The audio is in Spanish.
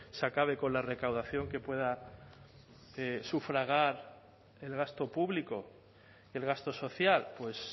se acabe con la recaudación que pueda de sufragar el gasto público y el gasto social pues